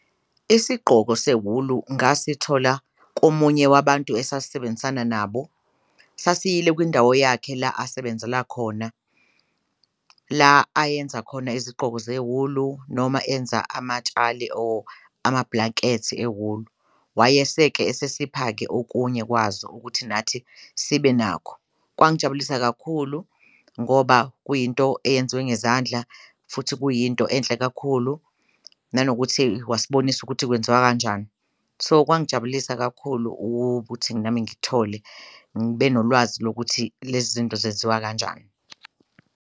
Isigqoko sewulu ngasithola komunye wabantu esasisebenzisana nabo, sasiyile kwindawo yakhe la asebenzela khona, la ayenza khona izigqoko zewulu noma enza amatshali or ama-blankets ewulu wayese-ke esesipha-ke okunye kwazo ukuthi nathi sibe nakho. Kwangijabulisa kakhulu ngoba kuyinto eyenziwe ngezandla futhi kuyinto enhle kakhulu nanokuthi wasibonisa ukuthi kwenziwa kanjani so, kwangijabulisa kakhulu ukuthi nami ngithole ngibe nolwazi lokuthi lezi zinto zenziwa kanjani.